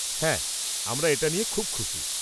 -হ্যাঁ আমরা এটা নিয়ে খুব খুশি।